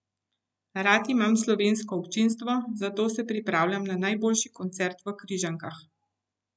Rad imam slovensko občinstvo, zato se pripravljam na najboljši koncert v Križankah.